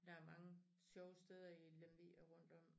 Der mange sjove steder i Lemvig og rundt om